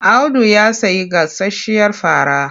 Audu ya sayi gasasshiyar fara.